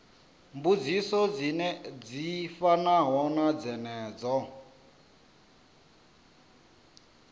mbudziso dzi fanaho na dzenedzo